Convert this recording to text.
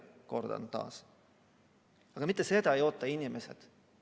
Aga kordan taas, et mitte seda ei oota inimesed.